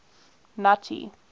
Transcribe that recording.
nuttie